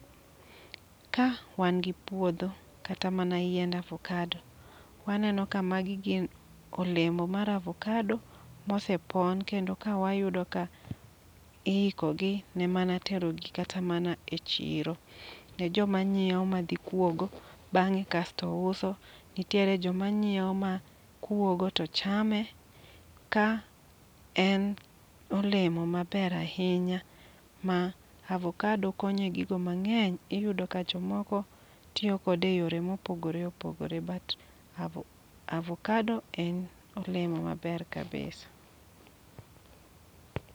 Ka wangi gi puodho kata mana yiend avocado. Wa neno ka magi gin olemo mar avocado mosepon. Kendo ka wayudo ka iikogi ne mana tero gi kata mana echiro. Ne joma nyiewo madhi kuogo bang'e kasto uso. Nitiere joma nyiewo makuogo to chame. Ka en olemo maber ahinya ma avocado konye egigo mang'eny iyudo ka jomoko tiyo kode eyore mopogore opogore but avocado en olemo maber ahinya.